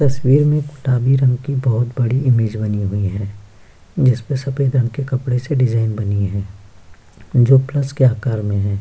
तस्वीर में गुलाबी रंग की बहोत बड़ी इमेज बनी हुई हैं जिस पे सफेद रंग के कपड़े से डिजाइन बनी हैं जो प्लस के आकार में है।